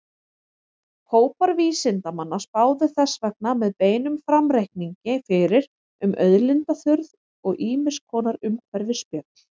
Hópar vísindamanna spáðu þess vegna með beinum framreikningi fyrir um auðlindaþurrð og ýmiss konar umhverfisspjöll.